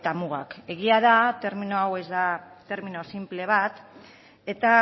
mugak egia da termino hau ez da termino sinple bat eta